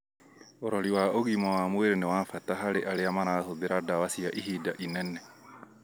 ũrori wa ũgima wa mwĩrĩ nĩ wa bata harĩ arĩa marahũthĩra ndawa cia ihinda inene